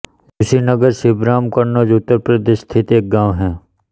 झूसीनगर छिबरामऊ कन्नौज उत्तर प्रदेश स्थित एक गाँव है